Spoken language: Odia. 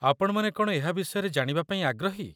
ଆପଣମାନେ କ'ଣ ଏହା ବିଷୟରେ ଜାଣିବାପାଇଁ ଆଗ୍ରହୀ?